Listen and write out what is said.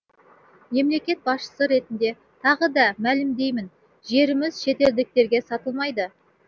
мемлекет басшысы ретінде тағы да мәлімдеймін жеріміз шетелдіктерге сатылмайды